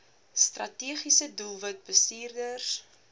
strategiese doelwit bestuurders